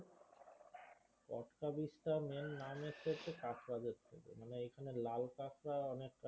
Katka beach টার main নাম এসেছে হচ্ছে কাঁকড়া দের থেকে মানে এইখানে লাল কাঁকড়া অনেক